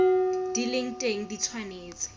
di leng teng di tshwanetse